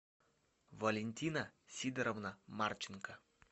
валентина сидоровна марченко